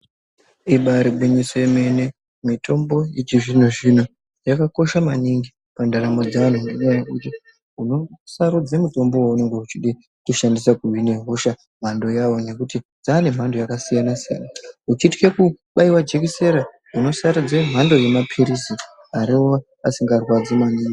Ibari gwinyiso yemene. Mitombo yechizvino-zvino yakakosha maningi mundaramo dzeanhu ngenyaya yekuti unosarudze mutombo weunenge uchida kushandisa kuhina hosha mhando yawo ngekuti dzane mhando dzakasiyana-siyana, Uchitye kubaiwe jikisera unosarudze mhando yemaphirizi arova asingarwadzi maningi.